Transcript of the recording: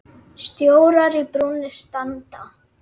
Stjórar í brúnni standa.